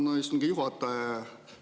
Tänan, istungi juhataja!